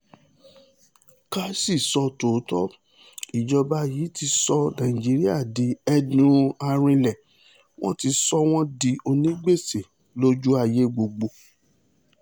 ká sì sọ tòótọ́ ìjọba yìí ti sọ nàìjíríà di ẹdun-arinlẹ̀ wọn ti sọ wọ́n di onígbèsè lójú ayé gbogbo